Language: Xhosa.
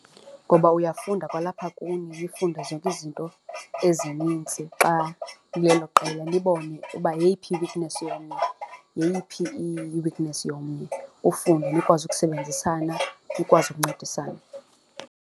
Ngoba uyafunda kwalapha kuni nifunde zonke izinto ezinintsi xa nilelo qela nibone uba yeyiphi i-weakness yomnye, yeyiphi i-weakness yomnye, ufunde nikwazi ukusebenzisana nikwazi ukuncedisana.